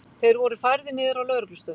Þeir voru færðir niður á lögreglustöð